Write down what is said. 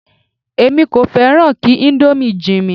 Èmi kò fẹ́ràn kí íńdómì jinmi.